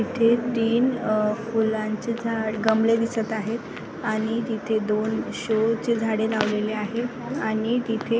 इथे तीन फुलांचे झाड गमले दिसत आहेत आणि तिथे दोन शो ची झाडे लावलेले आहेत आणि तिथे --